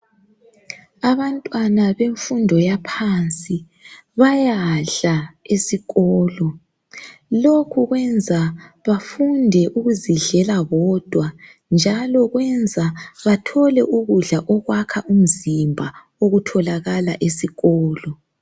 Abantwana bemfundo yaphansi bayadla esikolo. Lokho kwenza bafunde ukuzidlela bodwa njalo kwenza bathole ukudla okwakha umzimba okutholakala esikolo.